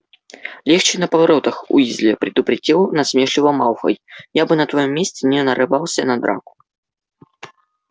легче на поворотах уизли предупредил насмешливо малфой я бы на твоём месте не нарывался на драку